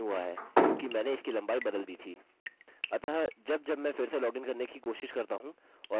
अतः अब जब मैं फिर से लॉगिन करने की कोशिश करता हूँ और मैं यह ठीक से टाइप करता हूँ